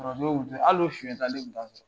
Al'o soyɛnta ne tun t'a sɔrɔ.